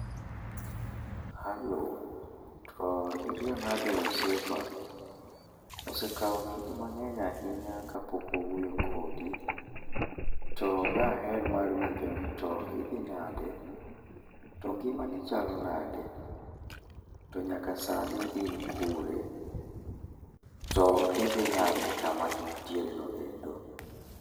Halo, to iriyo nade osiepa? Osekawo kinde mang'eny ahinya kapok wawuoyo kodi. To daher mar winjo nito idhi nade. To ngimani chalo nade. To nyaka sani in kure? Tom idhi nade kama intiere no endo ?